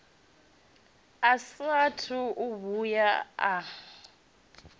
a saathu u vhuya a